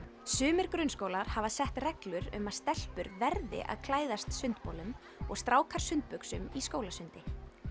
sumir grunnskólar hafa sett reglur um að stelpur verði að klæðast sundbolum og strákar sundbuxum í skólasundi